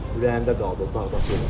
Ürəyimdə qaldı o dağda.